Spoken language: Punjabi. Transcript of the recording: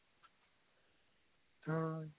ਹਾਂ